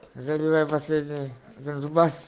заливаем последние вижу вас